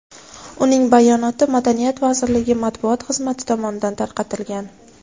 Uning bayonoti Madaniyat vazirligi matbuot xizmati tomonidan tarqatilgan .